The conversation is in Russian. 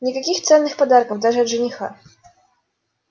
никаких ценных подарков даже от жениха